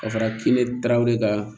Ka fara kini taa ne ka